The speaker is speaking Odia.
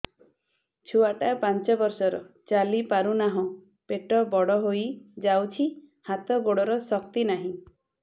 ଛୁଆଟା ପାଞ୍ଚ ବର୍ଷର ଚାଲି ପାରୁନାହଁ ପେଟ ବଡ ହୋଇ ଯାଉଛି ହାତ ଗୋଡ଼ର ଶକ୍ତି ନାହିଁ